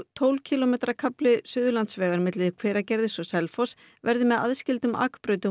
tólf kílómetra kafli Suðurlandsvegar milli Hveragerðis og Selfoss verði með aðskildum akbrautum